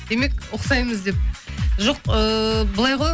демек ұқсаймыз деп жоқ ыыы былай ғой